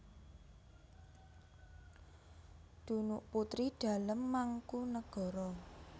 Dunuk putri dalem Mangkunagara